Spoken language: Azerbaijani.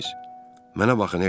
Mənə baxın, hersoq.